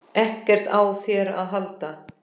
EKKERT Á ÞÉR AÐ HALDA!